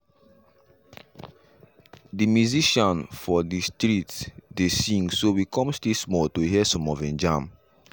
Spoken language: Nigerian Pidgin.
de musician for the for the street dey sing so we come stay small to hear some of him jam.